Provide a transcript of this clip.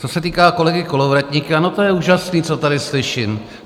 Co se týká kolegy Kolovratníka - no to je úžasné, co tady slyším.